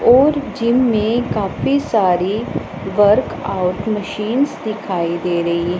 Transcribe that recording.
और जिम में काफी सारी वर्क आउट मशींस दिखाई दे रही--